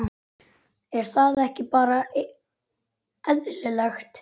Er það ekki bara eðlilegt?